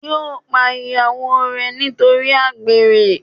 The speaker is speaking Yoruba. yóò pa ìyàwó re nítorí àgbèrè